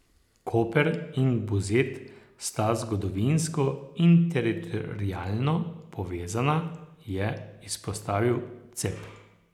Koper in Buzet sta zgodovinsko in teritorialno povezana, je izpostavil Cep.